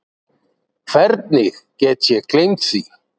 Hvernig get ég gleymt því?